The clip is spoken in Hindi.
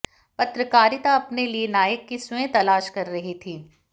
पत्रकारिता अपने लिए नायकों की स्वयं तलाश कर रही थी